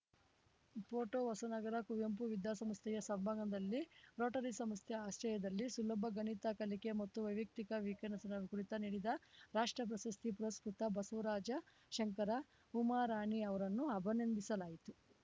photo Hosanagara Kuvempu ವಿದ್ಯಾಸಂಸ್ಥೆಯ ಸಭಾಂಗಣದಲ್ಲಿ Rotary ಸಂಸ್ಥೆ ಆಶ್ರಯದಲ್ಲಿ ಸುಲಭ ಗಣಿತ ಕಲಿಕೆ ಮತ್ತು ವ್ಯಕ್ತಿತ್ವ ವಿಕಸನ ಕುರಿತ ನೀಡಿದ ರಾಷ್ಟ್ರ ಪ್ರಶಸ್ತಿ ಪುರಸ್ಕೃತ ಬಸ್ವರಾಜ ಶಂಕರ ಉಮರಾಣಿ ಅವರನ್ನು ಅಭಿನಂದಿಸಲಾಯಿತು